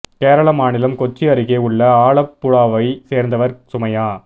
கேரள மாநிலம் கொச்சி அருகே உள்ள ஆலப்புழாவை சேர்ந்தவர் சுமையா